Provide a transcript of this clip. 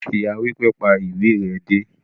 Ìyá wípé,"pa ìwé re dé"